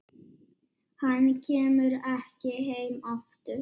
Hann kemur ekki heim aftur.